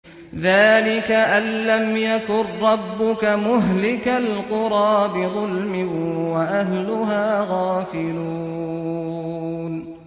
ذَٰلِكَ أَن لَّمْ يَكُن رَّبُّكَ مُهْلِكَ الْقُرَىٰ بِظُلْمٍ وَأَهْلُهَا غَافِلُونَ